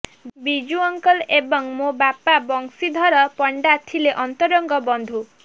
Biju uncle ଏବଂ ମୋ ବାପା ବଂଶୀଧର ପଣ୍ଡା ଥିଲେ ଅନ୍ତରଙ୍ଗ ବନ୍ଧୁ